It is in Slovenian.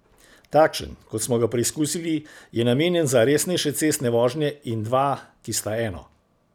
Takšen, kot smo ga preizkusili, je namenjen za resnejše cestne vožnje in dva, ki sta eno.